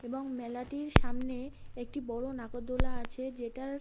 এবং মেলাটির সামনে একটি বড়ো নাগরদোলা আছে যেটার --